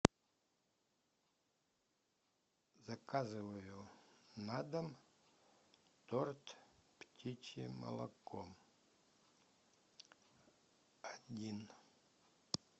заказываю на дом торт птичье молоко один